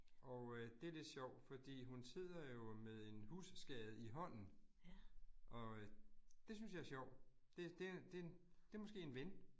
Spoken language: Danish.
Og øh det lidt sjovt fordi hun sidder jo med en husskade i hånden, og øh det synes jeg er sjovt. Det det er det en det måske en ven